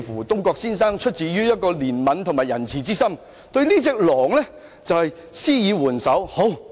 東郭先生出於憐憫及仁慈的心，答應對狼施以援手。